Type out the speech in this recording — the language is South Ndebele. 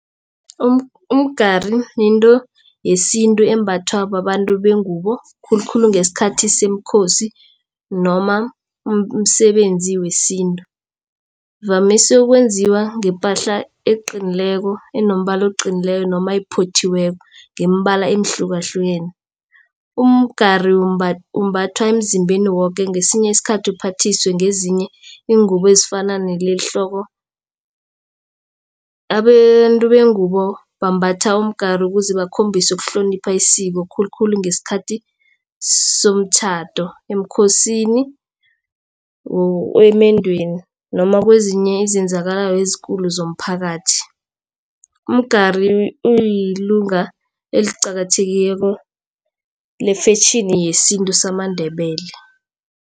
Umgari yinto yesintu embathwa babantu bengubo khulukhulu ngesikhathi seemkhosi noma umsebenzi wesintu. Uvamise ukwenziwa ngepahla eqinileko enombala oqinileko noma ephothiweko ngeembala ehlukahlukeneko. Umgari umbathwa emzimbeni woke ngesinye isikhathi uphathiswe ngezinye iingubo ezifana nalehloko. Abantu bengubo bambatha umgari ukuze bakhombise ukuhlonipha isiko khulukhulu ngesikhathi somtjhado emkhosini emendweni noma kwezinye izenzakalako ezikulu zomphakathi. Umgari uyilunga eliqakathekileko lefetjhini yesintu samaNdebele.